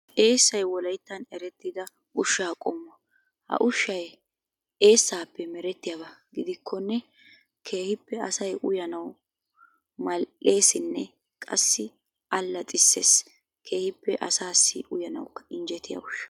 Eessay wolayttan erettida ushaa qommo. Ha ushshay eesaappe merettiyaaba gidikkonne keehippe asay uyanawu mal'eessiinne qassi alaxxisees. Keehippe asaassi uyanawukka injjetiya ushsha.